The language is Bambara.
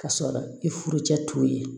K'a sɔrɔ i furu cɛ t'u ye